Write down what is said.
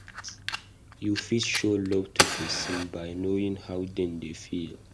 You fit show love to person by knowing how dem dey feel